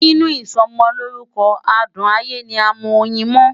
Nínú ìsọmọlórúkọ adùn ayé ni a mọ oyin mọ́.